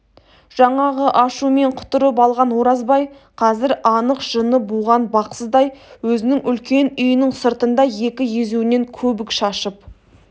жаңағы ашумен құтырып алған оразбай қазір анық жыны буған бақсыдай өзінің үлкен үйінің сыртында екі езуінен көбік шашып